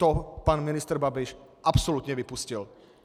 To pan ministr Babiš absolutně vypustil.